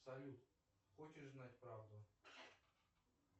салют хочешь знать правду